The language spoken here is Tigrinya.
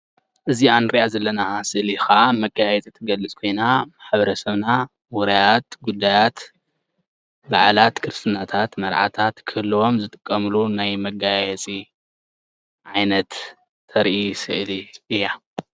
እዛ ንሪኣ ዘለና ስእሊ ከዓ መጋየፂ ትገልፅ ኮይና ማሕበረሰብና ዉራያት ጉዳያት በዓላት ክርስትናታት መርዓታት ክህልዎም ዝጥቀምሉ ናይ መጋየፂ ዓይነት ተርኢ ስእሊ እያ።